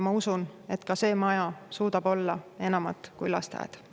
Ma usun, et see maja suudab olla enamat kui lasteaed.